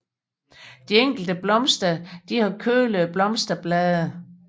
De enkelte blomster har kølede blomsterblade